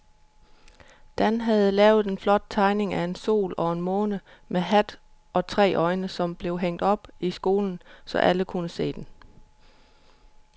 Dan havde lavet en flot tegning af en sol og en måne med hat og tre øjne, som blev hængt op i skolen, så alle kunne se den.